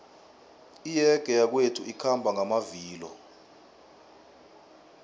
iyege yakwethu ikhamba ngamavilo